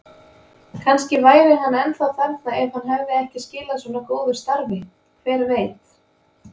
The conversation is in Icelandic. Kannski væri hann ennþá þarna ef hann hefði ekki skilað svona góðu starfi, hver veit?